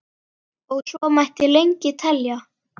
Og svo mætti lengi telja.